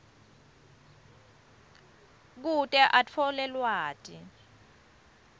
kute atfole lwati